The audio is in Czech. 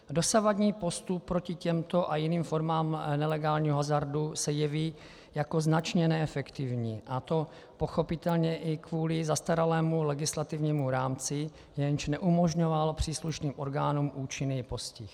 Dosavadní postup proti těmto a jiným formám nelegálního hazardu se jeví jako značně neefektivní, a to pochopitelně i kvůli zastaralému legislativnímu rámci, jenž neumožňoval příslušným orgánům účinný postih.